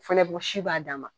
Fɛnɛ bɔ si b'a d'a ma.